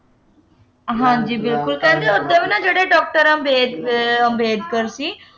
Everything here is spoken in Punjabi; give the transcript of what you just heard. ਹਾਂਜੀ ਬਿਲਕੁੱਲ, ਕਹਿੰਦੇ ਓਦਾਂ ਵੀ ਨਾ ਜਿਹੜੇ ਡਾਕਟਰ ਅੰਬੇਦ~ ਅਹ ਅੰਬੇਦਕਰ ਸੀ